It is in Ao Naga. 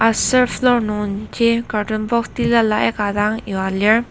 aser floor nungji carton box tilala aika dang yua lir.